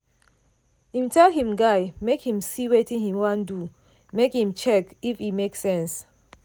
im tell him guy make him see wetin him wan do make im check if e make sense.